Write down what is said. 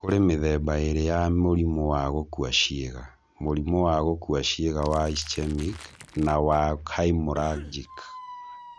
Kũrĩ mĩthemba ĩĩrĩ ya mũrimũ wa gũkua ciĩga: mũrimũ wa gũkua ciĩga wa ischemic na wa hemorrhagic.